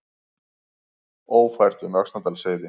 Ófært um Öxnadalsheiði